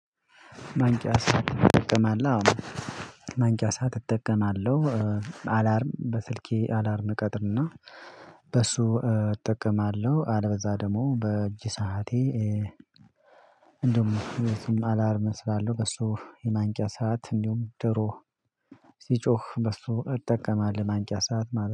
ማንቂያ ሰዓት እጠቀማለሁ አሁን ማንቂያ ሰዓት እጠቀማለሁ አላርም በስልኬ አላርም ቀጥልና በሱ እጠቀማለሁ አለበዛ ደግሞ በእጅ ሰዓቴ። እንደውም የዚህም አላርም እስላለሁ በሱ የማንቂያ ሰዓት እንዲሁም ድሮ በሱ እጠቀማለሁ ማንቂያ ሰዓት ማለት ነው